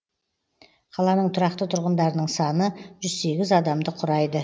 қаланың тұрақты тұрғындарының саны жүз сегіз адамды құрайды